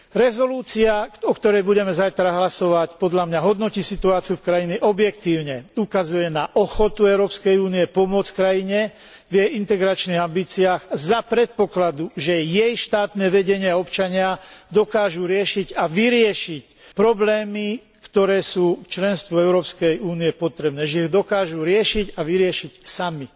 Uznesenie, o ktorom budeme zajtra hlasovať, podľa mňa hodnotí situáciu v krajine objektívne, ukazuje na ochotu Európskej únie pomôcť krajine v jej integračných ambíciách za predpokladu, že jej štátne vedenie a občania dokážu riešiť a vyriešiť problémy, ktoré sú pre členstvo v Európskej únii potrebné, že ich dokážu riešiť a vyriešiť sami.